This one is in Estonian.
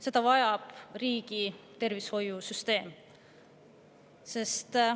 Seda vajab riigi tervishoiusüsteem.